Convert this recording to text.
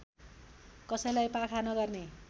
कसैलाई पाखा नगर्ने